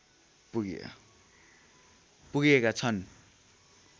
पुगेका छन्